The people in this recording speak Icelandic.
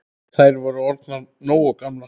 Þær væru orðnar nógu gamlar.